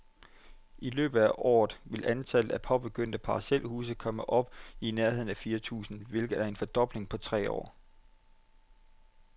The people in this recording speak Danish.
I løbet af året vil antallet af påbegyndte parcelhuse komme op i nærheden af fire tusind, hvilket er en fordobling på tre år.